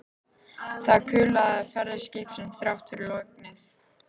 Það kulaði af ferð skipsins þrátt fyrir lognið.